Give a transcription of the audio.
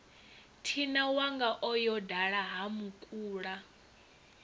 thinawanga o yo dala hamukula